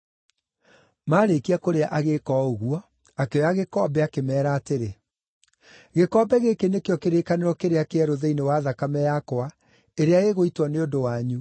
Maarĩkia kũrĩa agĩĩka o ũguo, akĩoya gĩkombe, akĩmeera atĩrĩ, “Gĩkombe gĩkĩ nĩkĩo kĩrĩkanĩro kĩrĩa kĩerũ thĩinĩ wa thakame yakwa ĩrĩa ĩgũitwo nĩ ũndũ wanyu.